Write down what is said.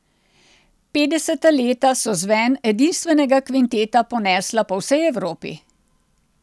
Petdeseta leta so zven edinstvenega kvinteta ponesla po vsej Evropi.